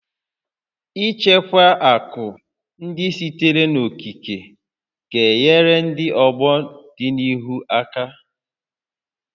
Ichekwa akụ ndị sitere n'okike ga-enyere ndị ọgbọ n'ọdịnihu aka